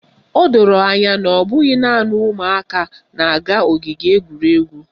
O doro anya na ọ bụghị naanị ụmụaka na-aga ogige egwuregwu